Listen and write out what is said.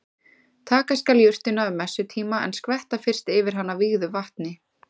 Taka skal jurtina um messutíma en skvetta fyrst yfir hana vígðu vatni.